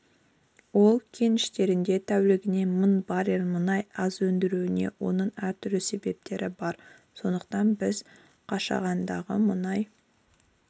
ол кеніштерде тәулігіне мың баррель мұнай аз өндірілуде оның әртүрлі себептері бар сондықтан біз қашағандағы мұнай